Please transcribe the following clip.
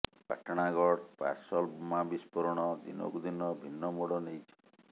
Patnagarh parcel ବୋମା ବିସ୍ଫୋରଣ ଦିନକୁ ଦିନ ଭିନ୍ନ ମୋଡ଼ ନେଇଛି